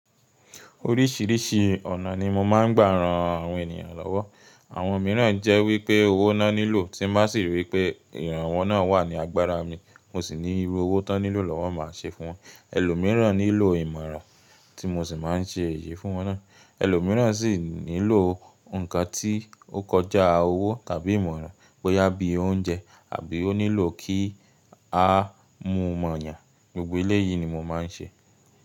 Oríṣìíríṣìí ọ̀nà ni mo máa ń gbà ran àwọn ènìyàn lọ́wọ́. Àwọn mìíràn jẹ́ wípé owó ná nílò tí má sì rí wípé ìrànwọ́ ná wà ní agbára mi, mo sì ní irú owó tó nílò lọ́wọ́ máa ṣe fún wọn. Ẹlòmíràn nílò ìmọ̀ràn tí mo sì máa ń ṣe èyí fún wọn ná. Ẹlòmíràn sì nílò nǹkan tí ó kọjá owó tàbí ìmọ̀ràn, bóyá bí i oúnjẹ àbí ó nílò kí a mú mọ eyàn. Gbogbo eléyìí ni mo máa ń ṣe.